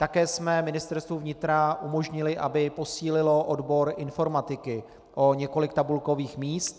Také jsme Ministerstvu vnitra umožnili, aby posílilo odbor informatiky o několik tabulkových míst.